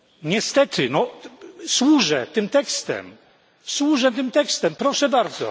Niestety służę tym tekstem, służę tym tekstem, proszę bardzo.